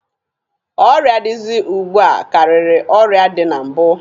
Ọrịa dịzị ugbua karịrị ọrịa dị na mbụ.